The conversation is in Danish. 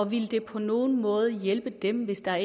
ville det på nogen måde hjælpe dem hvis der